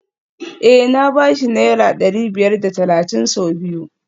Eh na ba shi naira dari biyar da talatin sau biyu